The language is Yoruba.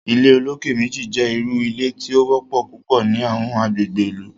ilé olokè méjì jé ìrù ilé tí o wópò púpọ ní Àwọn agbègbè ìlú